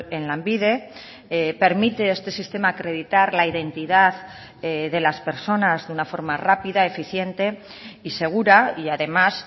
en lanbide permite este sistema acreditar la identidad de las personas de una forma rápida eficiente y segura y además